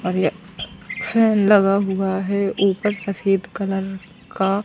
और ये फैन लगा हुआ है ऊपर सफेद कलर का--